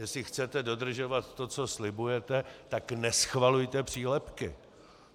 Jestli chcete dodržovat to, co slibujete, tak neschvalujte přílepky.